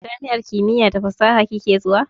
Jami'ar kimiya da fasaha kike zuwa?